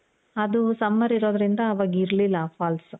ಅದು summer ಇರೋದ್ರಿಂದ ಅವಾಗ ಇರ್ಲಿಲ್ಲ ಆ falls